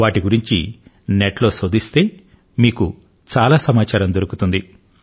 వాటి గురించి నెట్ లో శోధిస్తే మీకు చాలా సమాచారం దొరుకుతుంది